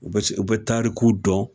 U bɛ se u bɛ tarikuw dɔn